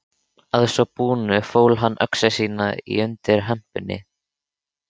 Að svo búnu fól hann öxi sína undir hempunni.